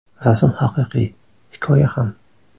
Rasm haqiqiy, hikoya ham.